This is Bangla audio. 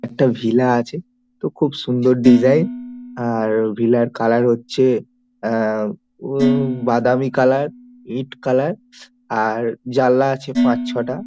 একটা ভিলা আছে | তো খুব সুন্দর ডিজাইন | আর ভিলার কালার হচ্ছে এ -উঃ বাদামি কালার ইট কালার | আর জানলা আছে পাঁচ ছয়টা।